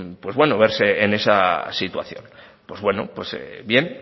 verse en esa situación pues bueno pues bien